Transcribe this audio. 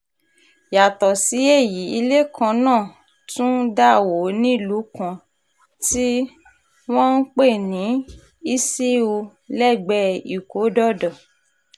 yàtọ̀ sí èyí ilé kan náà tún dà wó nílùú kan tí um wọ́n ń pè ní um iṣíù lẹ́gbẹ̀ẹ́ ìkódọ̀dọ̀